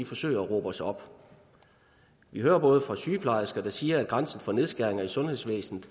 forsøger at råbe os op vi hører sygeplejersker sige at grænsen for nedskæringer i sundhedsvæsenet